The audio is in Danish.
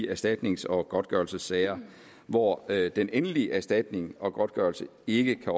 de erstatnings og godtgørelsessager hvor den endelige erstatning og godtgørelse ikke